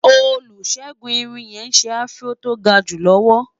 olusegun irún yé sè afro tó gaju lọwọ